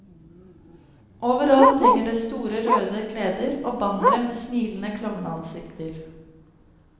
Overalt henger det store røde kleder og bannere med smilende klovneansikter.